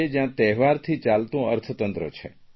જ્યાં તહેવારથી ચાલતું અર્થતંત્ર છે